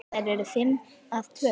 Þær eru fimm að tölu.